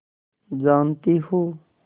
जानती हो